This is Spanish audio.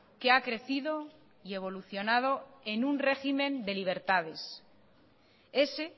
que ha crecido y evolucionado en un régimen de libertades ese